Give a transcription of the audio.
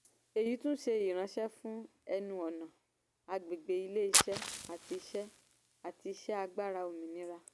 èyí tún ṣé ìránṣẹ́ fún ẹnu-ọ̀nà àgbègbè ilé-iṣẹ́ àti iṣẹ́ àti iṣẹ́ agbára òmìnira.